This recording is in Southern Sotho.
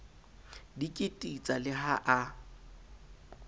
di kititsa le ha a